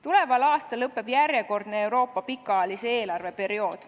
Tuleval aastal lõpeb järjekordne Euroopa pikaajalise eelarve periood.